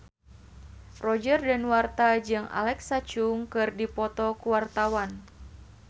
Roger Danuarta jeung Alexa Chung keur dipoto ku wartawan